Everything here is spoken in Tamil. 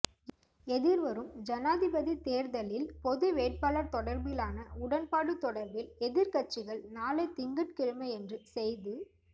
எதிர்வரும் ஜனாதிபதி தேர்தலில் பொதுவேட்பாளர் தொடர்பிலான உடன்பாடு தொடர்பில் எதிர்க்கட்சிகள் நாளை திங்கட்கிழமையன்று செய்து